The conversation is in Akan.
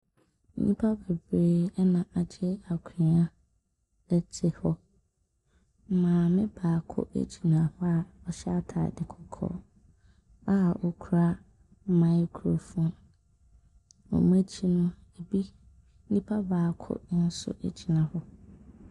Nnipa bebree na agye akonnwa te hɔ. Maame baako gyina hɔ a ɔhyɛ atade kɔkɔɔ a ɔkura microphone. Wɔn akyi no, ebi nipa baako nso gyina hɔ.